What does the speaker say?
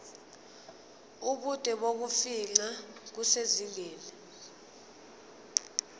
ubude bokufingqa kusezingeni